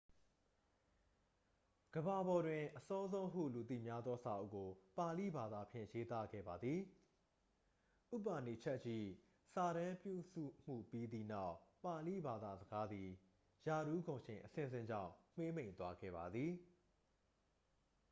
ကမ္ဘာပေါ်တွင် အစောဆုံးဟုလူသိများသောစာအုပ်ကို ပါဠိဘာသာဖြင့် ရေးသားခဲ့ပါသည် ဥပါနီရှက်ဒ် ၏ စာတမ်းပြုစုမှုပြီးသည့်နောက် ပါဠိဘာသာစကားသည် ရာထူးဂုဏ်ရှိန်အဆင့်ဆင့်ကြောင့် မှေးမှိန်သွားခဲ့ပါသည်